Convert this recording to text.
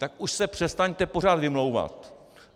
Tak už se přestaňte pořád vymlouvat.